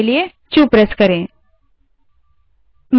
इससे बाहर आने के लिए क्यू q दबायें